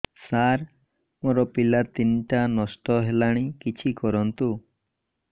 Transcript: ସାର ମୋର ପିଲା ତିନିଟା ନଷ୍ଟ ହେଲାଣି କିଛି କରନ୍ତୁ